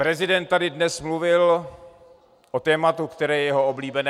Prezident tady dnes mluvil o tématu, které je jeho oblíbené.